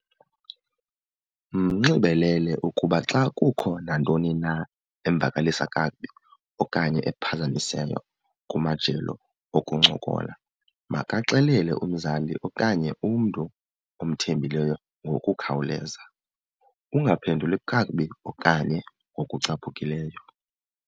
Mnxibelele ukuba xa kukho nantoni na emvakalisa kakubi okanye ephazamisayo kumajelo okuncokola makaxelele umzali okanye umntu omthembileyo ngokukhawuleza. Ungaphenduli kakubi okanye ngokucaphukileyo.